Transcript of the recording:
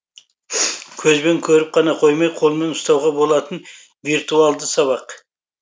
көзбен көріп қана қоймай қолмен ұстауға болатын виртуалды сабақ